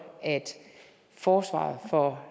at forsvaret for